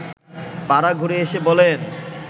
পাড়া ঘুরে এসে বলেন